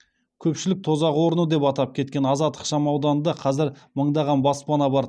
көпшілік тозақ орны деп атап кеткен азат ықшамауданында қазір мыңдаған баспана бар